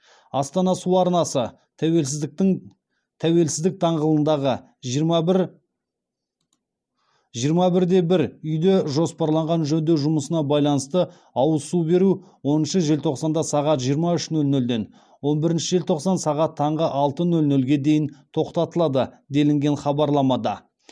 астана су арнасы тәуелсіздік даңғылындағы жиырма бір де бір үйде жоспарланған жөндеу жұмысына байланысты ауыз су беру оныншы желтоқсанда сағат жиырма үш нөл нөлден он бірінші желтоқсан таңғы алты нөл нөлге дейін тоқтатылады делінген хабарламада